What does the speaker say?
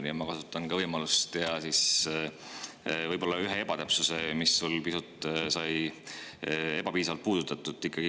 Nii et ma kasutan ka võimalust ja ikkagi kirjeldan ühte ebatäpsust, mida sa pisut ebapiisavalt puudutasid.